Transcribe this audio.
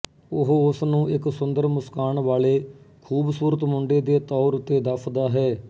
ਉਹ ਉਸ ਨੂੰ ਇੱਕ ਸੁੰਦਰ ਮੁਸਕਾਨ ਵਾਲੇ ਖ਼ੂਬਸੂਰਤ ਮੁੰਡੇ ਦੇ ਤੌਰ ਉੱਤੇ ਦੱਸਦਾ ਹੈ